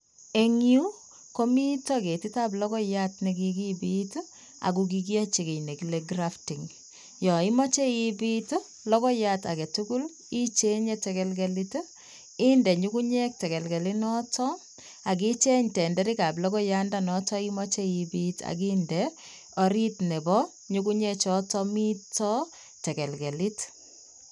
En yu komi ketitab logoiyat nekikibit ak kikiyochi kiy nekile grafting. Yon imoche ibit logoiyat agetugul icheng'e tekelkelit inde nyugunyek tekelkelit noton ak icheng' tenderikab logoiyandonoton imoche ipit ak inde orit nebo nyugunyek choton mito tekelkelit .